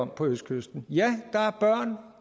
på østkysten ja